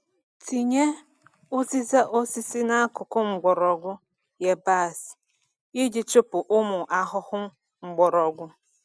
Tinye uziza osisi n’akụkụ mgbọrọgwụ yabasị iji chụpụ ụmụ ahụhụ mgbọrọgwụ.